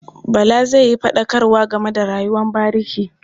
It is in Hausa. Bala zai yi faɗakarwa game da rayuwar bariki.